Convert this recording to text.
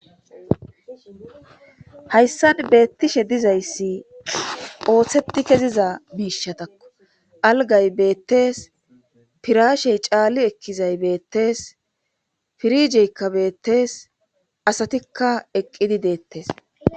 hayssan beettishe dizayssi ooththeti keziza miishatakko algay beettees pirashey caali ekkizay beettees pirijeykka beettes asatikka eqqidi deettes